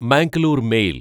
Mangalore mail